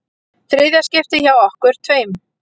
Þriðja skiptið hjá okkur tveim.